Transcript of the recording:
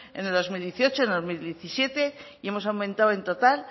en el dos mil dieciocho en el dos mil diecisiete y hemos aumentado en total